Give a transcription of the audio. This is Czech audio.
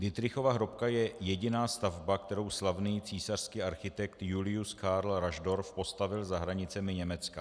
Dittrichova hrobka je jediná stavba, kterou slavný císařský architekt Julius Carl Raschdorff postavil za hranicemi Německa.